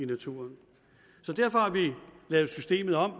naturen derfor har vi lavet systemet om